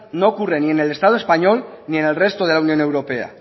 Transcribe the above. no ocurre ni en el estado español ni en el resto de la unión europea